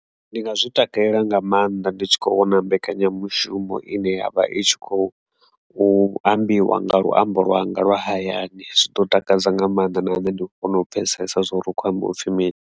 Ndi nga zwi takalela nga maanḓa ndi tshi kho vhona mbekanyamushumo ine yavha i tshi khou u ambiwa nga luambo lwanga lwa hayani zwi ḓo takadza nga maanḓa nahone ndi kona u pfhesesa zwa uri u kho ambiwa upfhi mini.